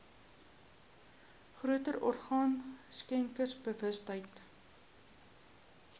groter orgaan skenkersbewustheid